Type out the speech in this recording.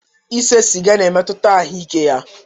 Ise sịga ga emetuta ahụ ike ya.